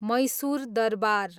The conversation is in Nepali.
मैसुर दरबार